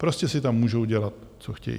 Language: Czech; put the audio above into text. Prostě si tam můžou dělat co chtějí.